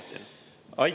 Aitäh!